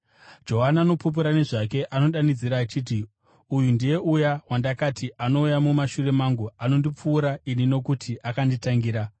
Johani anopupura nezvake. Anodanidzira achiti, “Uyu ndiye uya wandakati, ‘Anouya mumashure mangu anondipfuura ini nokuti akanditangira.’ ”